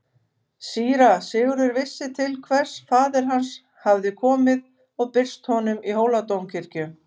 Síra Sigurður vissi til hvers faðir hans hafði komið og birst honum í Hóladómkirkju.